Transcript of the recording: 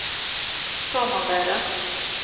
samarbeidet